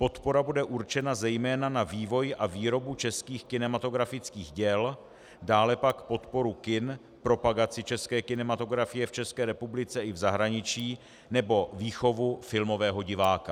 Podpora bude určena zejména na vývoj a výrobu českých kinematografických děl, dále pak podporu kin, propagaci české kinematografie v České republice i v zahraničí nebo výchovu filmového diváka.